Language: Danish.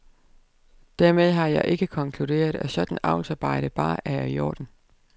Dermed har jeg ikke konkluderet, at sådant avlsarbejde bare er i orden.